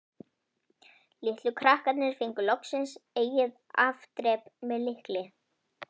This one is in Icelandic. Litlu krakkarnir fengu loksins eigið afdrep- með lykli.